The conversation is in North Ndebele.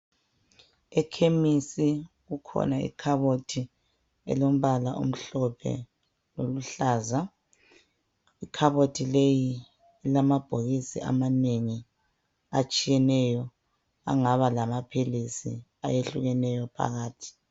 Ekhemisi kukhona ikhabothi elombala omhlophe loluhlaza. Ikhabothi leyi ilamabhokisi amanengi atshiyeneyo angaba lamaphilisi ayehlukeneyo phakathi.